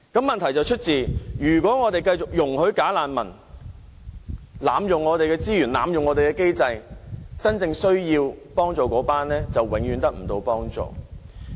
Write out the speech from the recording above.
問題是，如果我們繼續容許"假難民"濫用本港的資源和機制，則真正需要幫助的人便永遠得不到幫助。